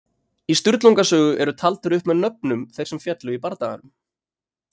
Í Sturlunga sögu eru taldir upp með nöfnum þeir sem féllu í bardaganum.